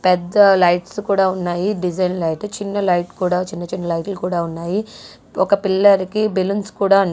పెద్ద లైట్స్ కూడా ఉన్నాయి. డిజైన్ లైట్ చిన్న లైట్ కూడా చిన్న చిన్న లైట్లు కూడా ఉన్నాయి. ఒక పిల్లాడికి బెలూన్స్ కూడా --